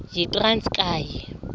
yitranskayi